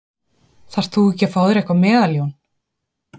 Þarft þú ekki að fá þér eitthvað meðal Jón?